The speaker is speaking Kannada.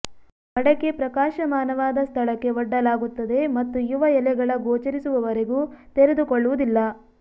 ಮಡಕೆ ಪ್ರಕಾಶಮಾನವಾದ ಸ್ಥಳಕ್ಕೆ ಒಡ್ಡಲಾಗುತ್ತದೆ ಮತ್ತು ಯುವ ಎಲೆಗಳ ಗೋಚರಿಸುವವರೆಗೂ ತೆರೆದುಕೊಳ್ಳುವುದಿಲ್ಲ